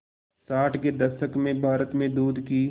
साठ के दशक में भारत में दूध की